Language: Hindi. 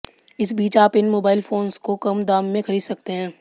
इस बीच आप इन मोबाइल फोंस को कम दाम में खरीद सकते हैं